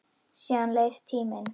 Síðan leið tíminn.